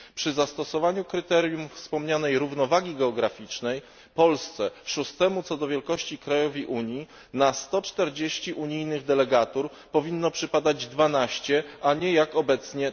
Przy zastosowaniu kryterium wspomnianej równowagi geograficznej Polsce, szóstemu co do wielkości krajowi Unii, na 140 unijnych delegatur powinno przypadać 12, a nie jak obecnie